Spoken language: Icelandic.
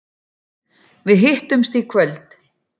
Við hittumst í kvöld.